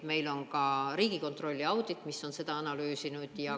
Meil on ka Riigikontrolli audit, mis on seda analüüsinud.